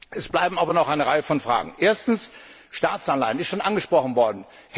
Es bleiben aber noch eine Reihe von Fragen Erstens Staatsanleihen. Das ist schon angesprochen worden.